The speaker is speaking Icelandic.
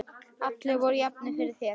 Allir voru jafnir fyrir þér.